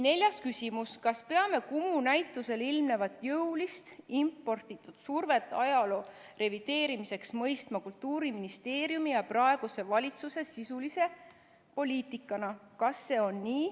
Neljas küsimus: "Kas peame KUMU näitusel ilmnevat jõulist, imporditud survet ajaloo revideerimiseks mõistma Kultuuriministeeriumi ja praeguse valitsuse sisulise poliitikana?